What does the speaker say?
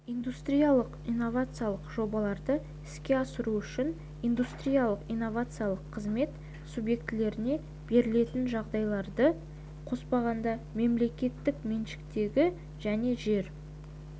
индустриялық-инновациялық жобаларды іске асыру үшін индустриялық-инновациялық қызмет субъектілеріне берілетін жағдайларды қоспағанда мемлекеттік меншіктегі және жер